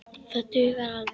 Það dugir alveg.